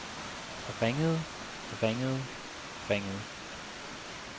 ringede ringede ringede